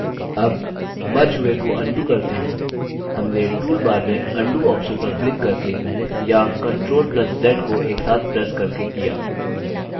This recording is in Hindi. अब मर्ज हुए को undo करते हैं हमने टूलबार में undo ऑप्शन पर क्लिक करके या ctrl + z को एक साथ प्रेस करके किया